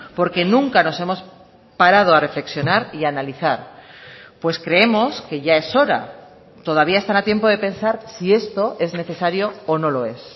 porque nunca nos hemos parado a reflexionar y analizar pues creemos que ya es hora todavía están a tiempo de pensar si esto es necesario o no lo es